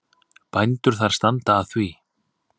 Bændur þar standa að því.